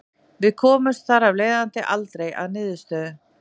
Við komumst þar af leiðandi aldrei að niðurstöðu.